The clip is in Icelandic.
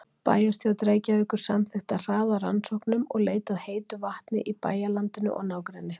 Bæjarstjórn Reykjavíkur samþykkti að hraða rannsóknum og leit að heitu vatni í bæjarlandinu og nágrenni.